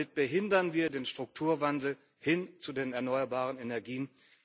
Damit behindern wir den Strukturwandel hin zu den erneuerbaren Energien.